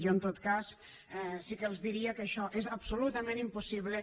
jo en tot cas sí que els diria que això és absolutament impossible